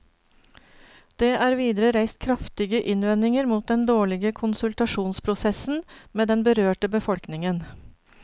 Det er videre reist kraftige innvendinger mot den dårlige konsultasjonsprosessen med den berørte befolkningen.